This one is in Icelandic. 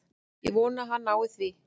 Ég vona að hann nái því.